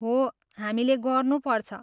हो, हामीले गर्नुपर्छ।